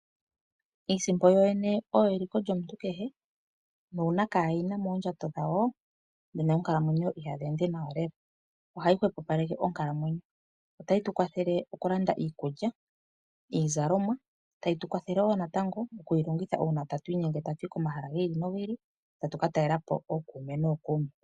Iisimpo yoyene oyo eliko lyomuntu kehe, nuuna kaaye yina moondjato dhawo nena oonkalamwenyo ihadhi ende nawa lela, ohayi hwepopaleke onkalamwenyo. Otayi tu kwathele okulanda iikulya, iizalomwa , tayi tu kwathele wo natango okuyi longitha uuna ta tu inyenge ta tu yi komahala gi ili nogi ili, ta tu ka talelapo ookuume nookuume.